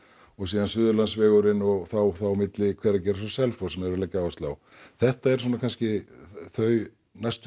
og síðan Suðurlandsvegurinn og þá milli Hveragerðis og Selfoss sem er verið að leggja áherslu á þetta eru svona kannski þau næstu